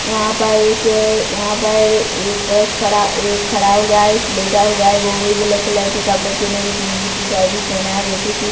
यहाँ पर एक यहाँ पर एक पुरुष खड़ा एक खड़ा हुआ है एक लेटा हुआ है वो भी ब्लैक कलर के कपड़े पहने एक नीली टीशर्ट भी पहना है जैसे कि--